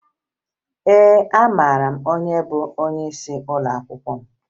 Ee, amara m onye bụ onyeisi ụlọakwụkwọ m